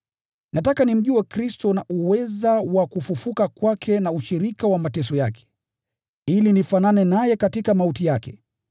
Nataka nimjue Kristo na uweza wa kufufuka kwake na ushirika wa mateso yake, ili nifanane naye katika mauti yake,